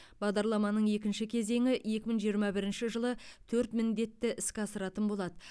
бағдарламаның екінші кезеңі екі мың жиырма бірінші жылы төрт міндетті іске асыратын болады